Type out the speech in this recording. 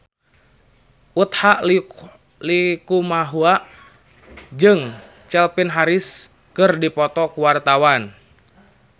Utha Likumahua jeung Calvin Harris keur dipoto ku wartawan